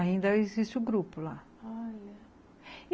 Ainda existe o grupo lá, ah e